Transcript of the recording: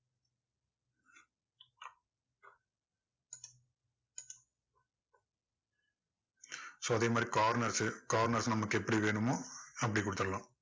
so அதே மாதிரி corners உ corners உ நமக்கு எப்படி வேணுமோ அப்படி கொடுத்துடலாம்.